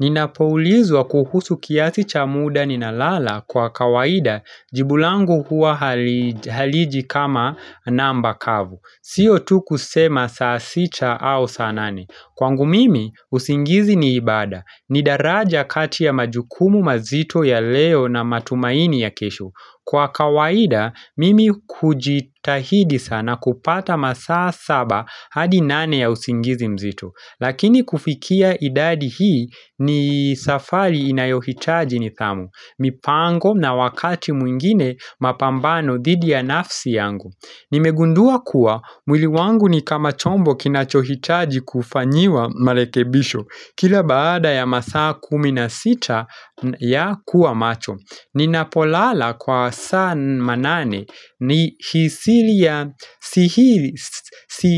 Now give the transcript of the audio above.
Ninapoulizwa kuhusu kiasi cha muda ni nalala kwa kawaida jibu langu huwa haliji kama namba kavu. Sio tu kusema saa sita au saa nane Kwangu mimi, usingizi ni ibada. Ni daraja kati ya majukumu mazito ya leo na matumaini ya kesho. Kwa kawaida, mimi kujitahidi sana kupata masaa saba hadi nane ya usingizi mzito. Lakini kufikia idadi hii ni safari inayohitaji nithamu, mipango na wakati mwingine mapambano thidi ya nafsi yangu. Nimegundua kuwa, mwili wangu ni kama chombo kinachohitaji kufanyiwa malekebisho, kila baada ya masaa kumi na sita ya kuwa macho. Ninapolala kwa saa manane ni hisili ya sihili